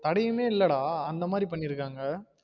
தடையாமே இல்ல டா அந்த மாதிரி பண்ணிருகாங்க